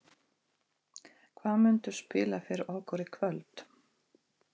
Hvað muntu spila fyrir okkur í kvöld?